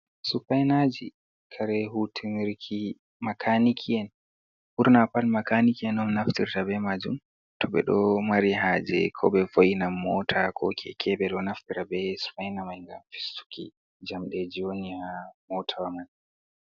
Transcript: Supainaji kare hutunirki, makaniki en on naftirta be majum, to ɓe ɗo mari haje ko ɓe vo'inan mota ko keke, ɓe ɗo naftira be supaina mai ngam fistuki jamde ji woni ha mota wa man.